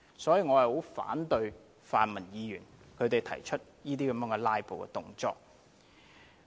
所以，我十分反對泛民議員作出這些"拉布"動作。